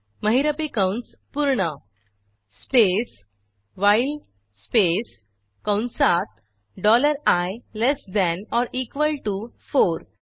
महिरपी कंस पूर्ण स्पेस व्हाईल स्पेस कंसात dollar I less than or equal T O four